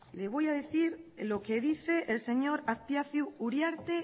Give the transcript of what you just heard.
le voy a decir lo que dice el señor azpiazu uriarte